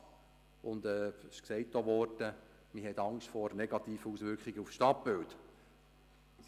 Es ist auch gesagt worden, dass man Angst vor negativen Auswirkungen auf das Stadtbild habe.